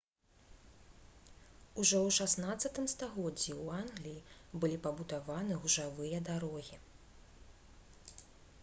ужо ў 16 стагоддзі ў англіі былі пабудаваны гужавыя дарогі